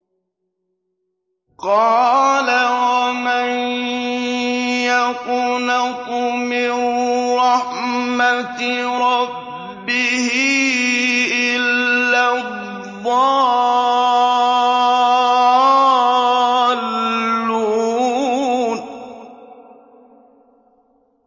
قَالَ وَمَن يَقْنَطُ مِن رَّحْمَةِ رَبِّهِ إِلَّا الضَّالُّونَ